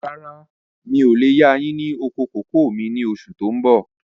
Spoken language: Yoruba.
Rárá, mi ò lè yà yín ní oko kòkó mi ni oṣù tó ń bọ̀.